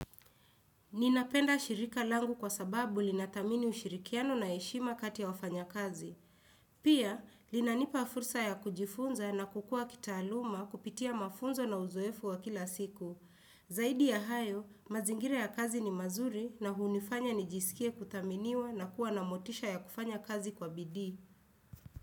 Ninapenda shirika langu kwa sababu linathamini ushirikiano na heshima kati ya wafanya kazi. Pia, linanipa fursa ya kujifunza na kukua kitaaluma kupitia mafunzo na uzoefu wa kila siku. Zaidi ya hayo, mazingire ya kazi ni mazuri na hunifanya nijisikie kuthaminiwa na kuwa na motisha ya kufanya kazi kwa bidii.